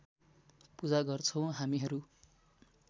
पूजा गर्छौं हामीहरू